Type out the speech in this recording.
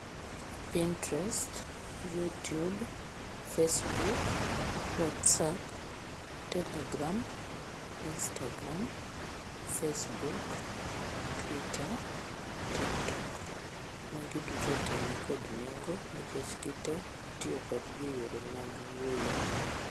Pintrest, youtube, facebook, whatsapp, telegram, instagram, facebook, tweeter, tiktok. Magi duto te ni kod nengo kikech gi te itiyo kodgi e yore mag wuoyo.